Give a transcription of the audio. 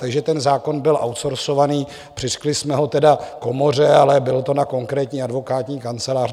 Takže ten zákon byl outsourcovaný, přiřkli jsme ho tedy komoře, ale bylo to na konkrétní advokátní kancelář.